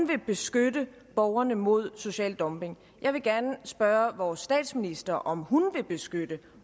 vil beskytte borgerne mod social dumping jeg vil gerne spørge vores statsminister om hun vil beskytte